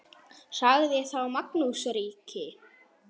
Sagði þá Magnús ríki: